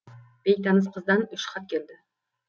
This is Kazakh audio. бейтаныс қыздан үш хат келді